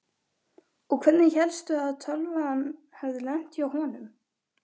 Og hvernig hélstu að tölvan hefði lent hjá honum?